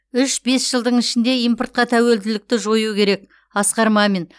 үш бес жылдың ішінде импортқа тәуелділікті жою керек асқар мамин